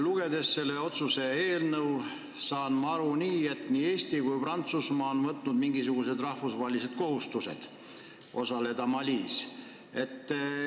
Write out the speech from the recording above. Lugedes selle otsuse eelnõu, saan ma aru, et nii Eesti kui Prantsusmaa on võtnud mingisugused rahvusvahelised kohustused osaleda Malis.